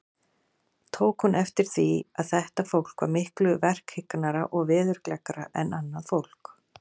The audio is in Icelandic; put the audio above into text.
Tók hún eftir því, að þetta fólk var miklu verkhyggnara og veðurgleggra en annað fólk.